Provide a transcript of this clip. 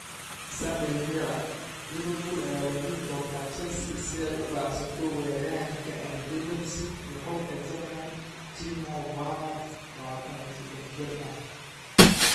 (Sunday Mirror) Liverpool ayaa wajihi doonta Chelsea si ay u baacsato weeraryahanka RB Leipzig iyo xulka Germany Timo Werner, 23 jir ah.